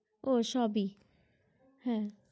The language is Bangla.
ও সবই হা